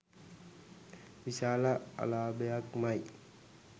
විශාල අලාභයක්මයි.